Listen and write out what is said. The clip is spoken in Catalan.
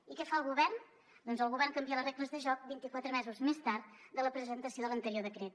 i què fa el govern doncs el govern canvia les regles de joc vint i quatre mesos més tard de la presentació de l’anterior decret